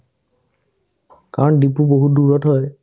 কাৰণ ডিপু বহুত দূৰত হয়